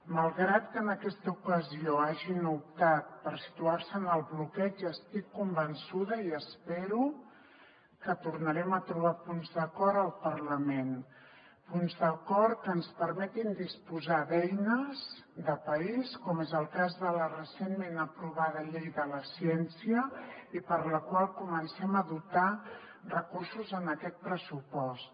malgrat que en aquesta ocasió hagin optat per situar se en el bloqueig estic convençuda i espero que tornarem a trobar punts d’acord al parlament punts d’acord que ens permetin disposar d’eines de país com és el cas de la recentment aprovada llei de la ciència i per a la qual comencem a dotar recursos en aquest pressupost